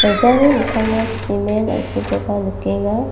giljani mikkango simen an·chengkoba nikenga.